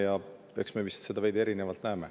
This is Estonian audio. Ja eks me näeme seda vist veidi erinevalt.